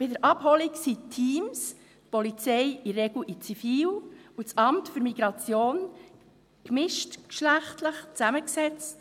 Bei der Abholung sind die Teams, die Polizei, in der Regel in Zivil, und das Amt für Migration gemischtgeschlechtlich zusammengesetzt.